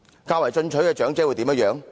較為進取的長者會如何呢？